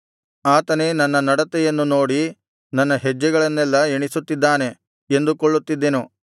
ಆತನೇ ನನ್ನ ನಡತೆಯನ್ನು ನೋಡಿ ನನ್ನ ಹೆಜ್ಜೆಗಳನ್ನೆಲ್ಲಾ ಎಣಿಸುತ್ತಿದ್ದಾನೆ ಎಂದುಕೊಳ್ಳುತ್ತಿದ್ದೆನು